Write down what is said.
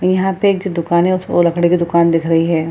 यहां पे एक जो दुकान है उस वो लकड़ी का दुकान दिख रही है।